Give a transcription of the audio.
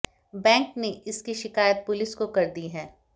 bank ने इसकी शिकायत पुलिस को कर दी है